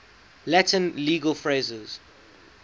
latin legal phrases